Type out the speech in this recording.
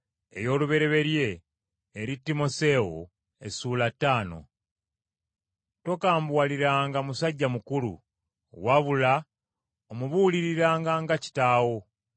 Tokambuwaliranga musajja mukulu, wabula omubuuliriranga nga kitaawo. Abavubuka bayisenga nga baganda bo,